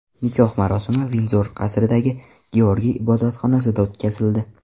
Nikoh marosimi Vindzor qasridagi Georgiy ibodatxonasida o‘tkazildi.